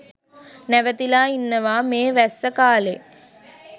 නැවතිලා ඉන්නවා මේ වැස්ස කාලේ.